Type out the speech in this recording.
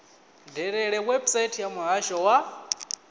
dalele website ya muhasho wa